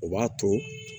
O b'a to